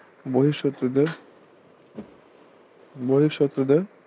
বহিঃশত্রুদের বহিঃশত্রুদের